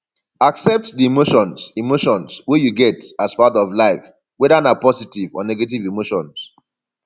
accept di emotions emotions wey you get as part of life weda na positive or negative emotions